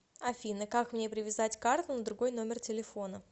афина как мне привязать карту на другой номер телефона